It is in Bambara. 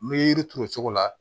N bɛ yiri turu cogo la